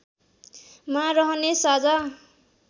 मा रहने साझा